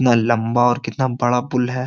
कितना लंबा और कितना बड़ा बुल है।